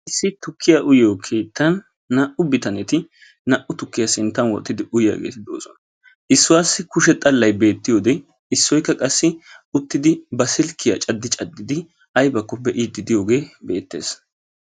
issi tukkiya uyyiyo keettan naa''u bitaneti naa''u tukkiya sinttan wottidi uttidouyiyaageeti doosona. issuwaassi kushee xallay beetiyode issuwassi qassi uttidi ba silkkiya caddi caddidi aybakko be'iidi diyooge beetees.